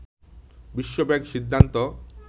বিশ্বব্যাংক সিদ্ধান্ত